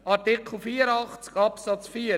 Zu Artikel 84 Absatz 4: